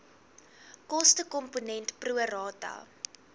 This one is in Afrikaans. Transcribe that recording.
kostekomponent pro rata